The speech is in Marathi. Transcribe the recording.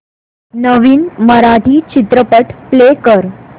नवीन मराठी चित्रपट प्ले कर